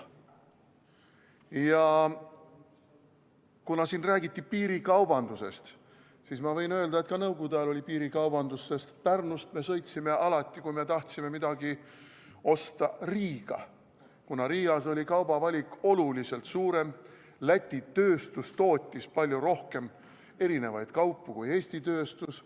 Ja kuna siin räägiti piirikaubandusest, siis ma võin öelda, et ka nõukogude ajal oli piirikaubandus, sest Pärnust me sõitsime alati, kui me tahtsime midagi osta, Riiga, kuna Riias oli kaubavalik oluliselt suurem, Läti tööstus tootis palju rohkem eri kaupu kui Eesti tööstus.